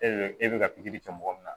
E de bɛ e bɛ ka pikiri kɛ mɔgɔ min na